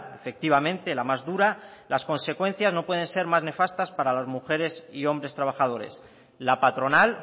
efectivamente la más dura las consecuencias no pueden ser más nefastas para las mujeres y hombres trabajadores la patronal